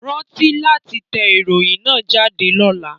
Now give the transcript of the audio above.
Rántí láti tẹ ìròyìn náà jáde lọ́la